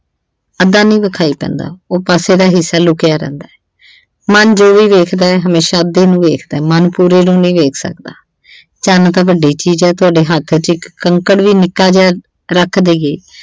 ਅੱਧਾ ਨਹੀਂ ਵਿਖਾਈ ਪੈਂਦਾ ਉਹ ਪਾਸੇ ਦਾ ਹਿੱਸਾ ਲੁਕਿਆ ਰਹਿੰਦਾ ਮਨ ਜੋ ਵੀ ਵੇਖਦਾ ਹਮੇਸ਼ਾ ਅੱਧੇ ਨੂੰ ਵੇਖਦਾ ਮਨ ਪੂਰੇ ਨੂੰ ਨਹੀਂ ਵੇਖ ਸਕਦਾ ਚੰਨ ਤਾਂ ਵੱਡੀ ਚੀਜ਼ ਆ ਤੁਹਾਡੇ ਹੱਥ ਚ ਇੱਕ ਕੰਕਰ ਵੀ ਨਿੱਕਾ ਜਿਹਾ ਰੱਖ ਦੇਈਏ।